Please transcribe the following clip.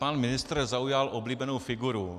Pan ministr zaujal oblíbenou figuru.